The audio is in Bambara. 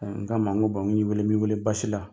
N k'a ma n ko n y'i wele m'i weele basi la.